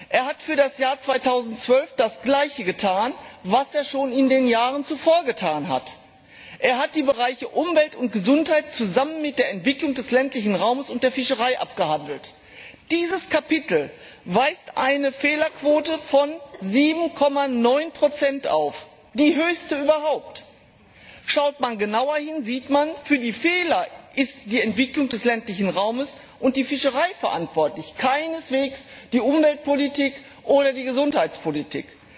Er hat für das Jahr 2012 das Gleiche getan, was er schon in den Jahren zuvor getan hat Er hat die Bereiche Umwelt und Gesundheit zusammen mit der Entwicklung des ländlichen Raumes und der Fischerei abgehandelt. Dieses Kapitel weist eine Fehlerquote von 7,9 auf die höchste überhaupt! Schaut man genauer hin, sieht man Für die Fehler sind die Entwicklung des ländlichen Raumes und die Fischerei verantwortlich, keineswegs die Umweltpolitik oder die Gesundheitspolitik.